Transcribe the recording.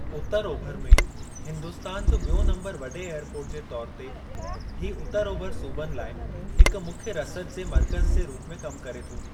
उतरु-ओभरि में हिन्दुस्तान जो ॿियो नम्बरु वॾे एअरपोर्ट जे तौर ते, हीउ उतरु-ओभरि सूबनि लाइ हिक मुख्य रसदु जे मर्क़ज़ जे रूप में कमु करे थो।